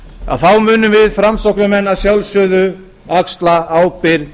að þá munum við framsóknarmenn að sjálfsögðu axla ábyrgð í